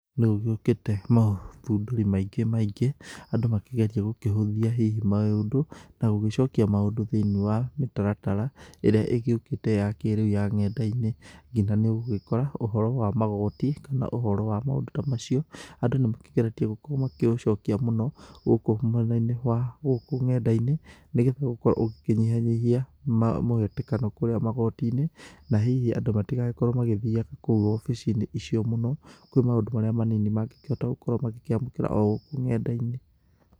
Nĩ gũgĩũkĩte maũthundũri maingĩ maingĩ, andũ makĩgeria gũkĩhũthia hihi maũndũ na gũgĩcokia maũndũ thĩiniĩ wa mĩtaratara, ĩrĩa ĩgĩũkĩte ya kĩrĩu ya ng'enda-inĩ. Nginya nĩ ũgũgĩkora ũhoro wa magoti kana ũhoro wa maũndũ ta macio andũ nĩ makĩgeretie gũkorwo makĩũcokia mũno gũkũ mwena-inĩ wa gũkũ ng'enda-inĩ, nĩgetha gũkorwo ũgĩkĩnyianyihia mũhatĩkano kũrĩa magoti-inĩ, na hihi andũ matigagĩkorwo magĩthiaga kũu obici-inĩ icio mũno, kwĩ maũndũ marĩa manini mangĩgĩkorwo magĩkĩamũkĩra o gũkũ ng'enda-inĩ.